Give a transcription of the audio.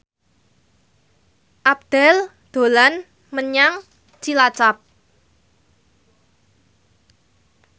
Abdel dolan menyang Cilacap